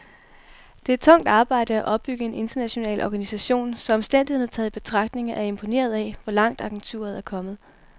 Det er tungt arbejde at opbygge en international organisation, så omstændighederne taget i betragtning er jeg imponeret af, hvor langt agenturet er kommet.